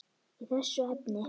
í þessu efni.